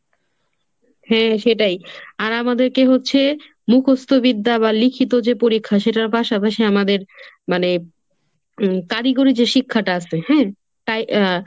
হ্যাঁ সেটাই। আর আমাদেরকে হচ্ছে মুখস্ত বিদ্যা বা লিখিত যে পরীক্ষা সেটার পাশাপাশি আমাদের মানে উম কারিগরি যে শিক্ষাটা আসে হ্যাঁ। তাই আহ